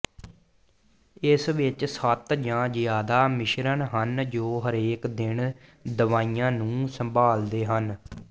ਇਸ ਵਿਚ ਸੱਤ ਜਾਂ ਜ਼ਿਆਦਾ ਮਿਸ਼ਰਨ ਹਨ ਜੋ ਹਰੇਕ ਦਿਨ ਦਵਾਈਆਂ ਨੂੰ ਸੰਭਾਲਦੇ ਹਨ